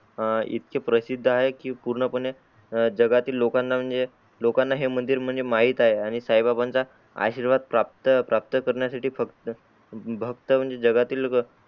हा इतके प्रसिद्ध आहे की पूर्ण पणे जगातील लोकाना म्हणजे लोकाना हे मंदिर म्हणजे माहीत आहे आणि साई बाबांचा आशीर्वाद प्राप्त प्राप्त कारण्यासाठी फक्त भक्त म्हणजे जगातील